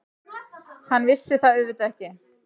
Hann vissi það auðvitað ekki.